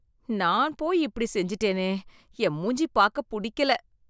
நான் போய் இப்படி செஞ்சுட்டேனே! என் மூஞ்சி பாக்க புடிக்கல‌